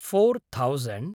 four thousand